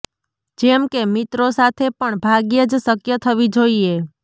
જેમ કે મિત્રો સાથે પણ ભાગ્યે જ શક્ય થવી જોઈએ